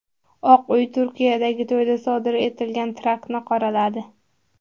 Oq uy Turkiyadagi to‘yda sodir etilgan teraktni qoraladi.